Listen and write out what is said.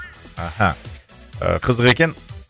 аха ы қызық екен